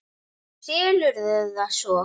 Thomas miðaði þá á magann.